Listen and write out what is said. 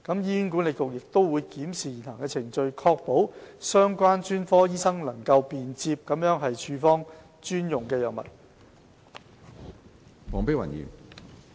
醫管局會檢視現行程序，以確保相關專科醫生能便捷地處方專用藥物。